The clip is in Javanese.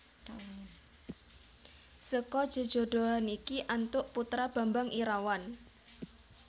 Seka jejodhoan iki antuk putra Bambang Irawan